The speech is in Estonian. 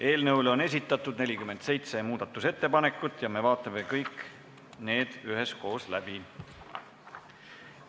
Eelnõu kohta on esitatud 47 muudatusettepanekut ja me vaatame need kõik üheskoos läbi.